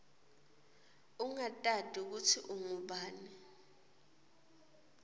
ungatati kutsi ungubani